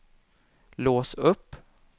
lås upp